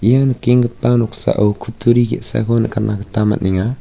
ia nikenggipa noksao kutturi ge·sako nikatna gita man·enga.